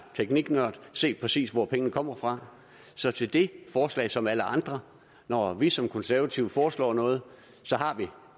tekniknørd se præcis hvor pengene kommer fra så til det forslag som alle andre når vi som konservative foreslår noget har vi